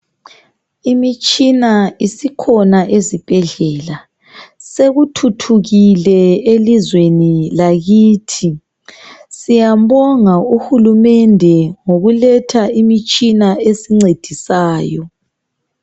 Imitshina isikhona ezibhedlela. Sekuthuthukile elizweni lakithi. Siyambonga uhulumende ngokuletha imitshina esincedisayo.